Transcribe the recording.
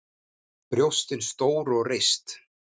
Brjóstin stór og reist.